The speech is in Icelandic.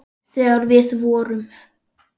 Þegar við vorum.